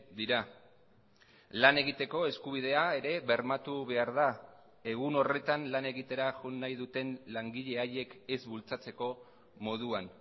dira lan egiteko eskubidea ere bermatu behar da egun horretan lan egitera joan nahi duten langile haiek ez bultzatzeko moduan